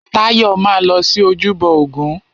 Táyọ̀ máa lọ sí ojúbọ ògún.